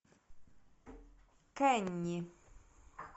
кенни